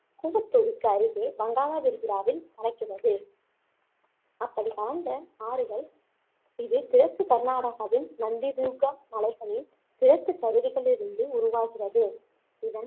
தூருக்கு அருகே வங்காள விரிகுடாவில் கலக்கிறது அப்படி கலந்த ஆறுகள் இது கிழக்கு கர்நாடகாவின் நந்தி துர்கா மலைகளின் கிழக்கு சரிவுகளிலிருந்து உருவாகிறது இதன்